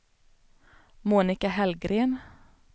Monica Hellgren